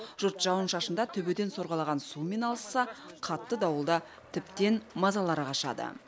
жұрт жауын шашында төбеден сорғалаған сумен алысса қатты дауылда тіптен мазалары қашады